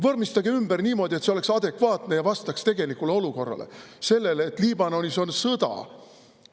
Vormistage see ümber niimoodi, et see oleks adekvaatne ja vastaks tegelikule olukorrale – sellele, et Liibanonis on sõda.